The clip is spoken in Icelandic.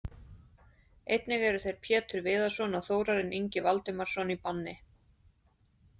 Einnig eru þeir Pétur Viðarsson og Þórarinn Ingi Valdimarsson í banni.